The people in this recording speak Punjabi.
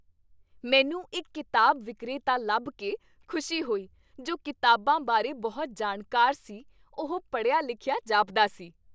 ਮੈਨੂੰ ਇੱਕ ਕਿਤਾਬ ਵਿਕਰੇਤਾ ਲੱਭ ਕੇ ਖੁਸ਼ੀ ਹੋਈ ਜੋ ਕਿਤਾਬਾਂ ਬਾਰੇ ਬਹੁਤ ਜਾਣਕਾਰ ਸੀ ਉਹ ਪੜ੍ਹਿਆ ਲਿਖਿਆ ਜਾਪਦਾ ਸੀ